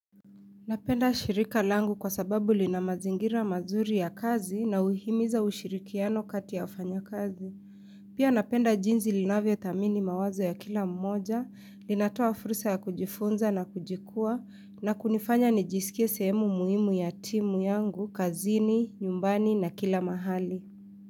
Napenda shirika langu kwa sababu linamazingira mazuri ya kazi na uhimiza ushirikiano kati ya ufanya kazi. Pia napenda jinsi linavyo thamini mawazo ya kila mmoja, linatoa furusa ya kujifunza na kujikua, na kunifanya nijisikie sehemu muhimu ya timu yangu, kazini, nyumbani na kila mahali.